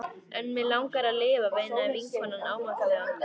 En mig langar að lifa, veinaði vinkonan ámátlega.